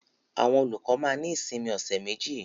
Àwọn olùkọ́ máa ní ìsinmi ọ̀ṣẹ̀ méjì.